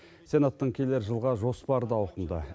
сенаттың келер жылға жоспары да ауқымды